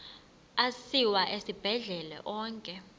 asiwa esibhedlele onke